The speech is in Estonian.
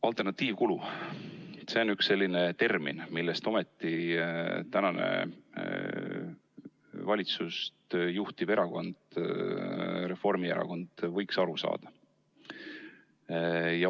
Alternatiivkulu – see on üks termin, millest ometi praegu valitsust juhtiv erakond Reformierakond võiks aru saada.